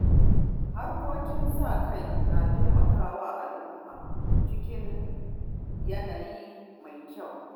Harkokin sa-kai na taimaka wa al’umma cikin yanayi mai kyau.